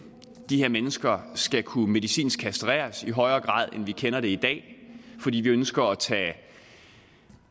de her mennesker skal kunne medicinsk kastreres i højere grad end vi kender det i dag fordi vi ønsker at tage